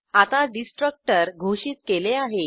आता डिस्ट्रक्टर घोषित केले आहे